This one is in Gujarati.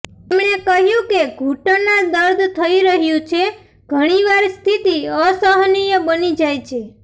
તેમણે કહ્યું કે ઘુંટણના દર્દ થઇ રહ્યું છે ઘણીવાર સ્થિતિ અસહનિય બની જાય છે